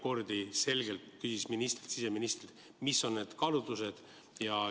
Urmas Reinsalu küsis mitu korda siseministrilt, mis on need kaalutlused.